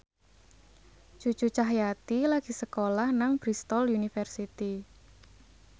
Cucu Cahyati lagi sekolah nang Bristol university